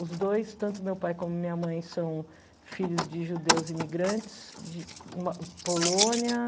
Os dois, tanto meu pai como minha mãe, são filhos de judeus imigrantes, de Polônia.